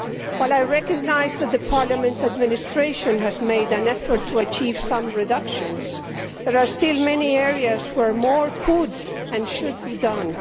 While I recognise that Parliament's administration has made an effort to achieve some reductions, there are still many areas where more could and should be done.